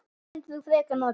Hvort myndir þú frekar nota?